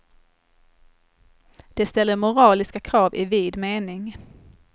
De ställer moraliska krav i vid mening.